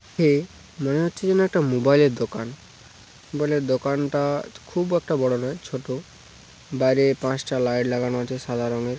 এ মনে হচ্ছে যেন একটা মোবাইল এর দোকান বলে দোকান-টা খুব একটা বড় নয় ছোট বাইরে পাঁচটা লাইট লাগানো আছে সাদা রঙের।